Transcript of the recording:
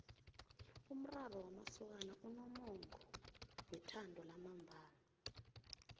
umraro wamasokana unomongo wethando lamambala